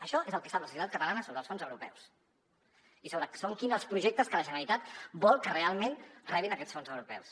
això és el que sap la societat catalana sobre els fons europeus i sobre quins són els projectes que la generalitat vol que realment rebin aquests fons europeus